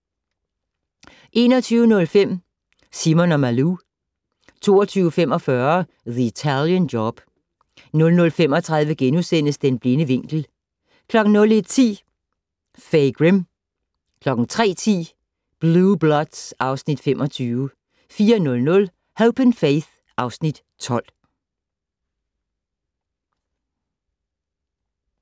21:05: Simon & Malou 22:45: The Italian Job 00:35: Den blinde vinkel * 01:10: Fay Grim 03:10: Blue Bloods (Afs. 25) 04:00: Hope & Faith (Afs. 12)